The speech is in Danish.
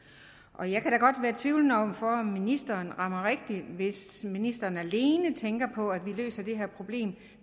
og jeg kan da godt være tvivlende over for om ministeren rammer rigtigt hvis ministeren alene tænker på at vi løser det her problem